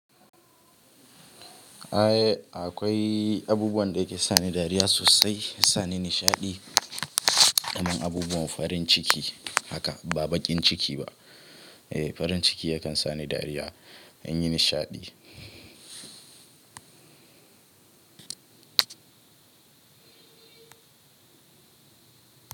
Eh akwai abubuwan da yake sani dariya sosai, sani nishaɗi, dama abubuwan farin ciki haka ba baƙin ciki ba. Eh farin ciki yakan sani dariya, an yi nishaɗi.